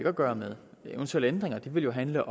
at gøre med eventuelle ændringer vil jo handle